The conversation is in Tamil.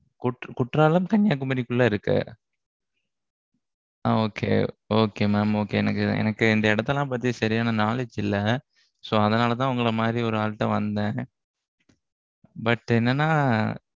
குற்றாலம், கன்னியாகுமரிக்குள்ள இருக்கு அ, okay okay mam okay எனக்கு, எனக்கு, இந்த இடத்தை எல்லாம் பத்தி, சரியான knowledge இல்லை. so அதனாலேதான், உங்களை மாதிரி, ஒரு ஆள்ட்ட வந்தேன். but என்னன்னா,